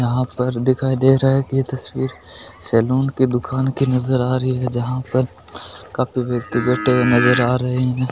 यहां पर दिखाई दे रहा है कि यह तस्वीर सलून के दुकान के नजर आ रही है जहां पर काफी व्यक्ति बैठे हुए नजर आ रहे हैं।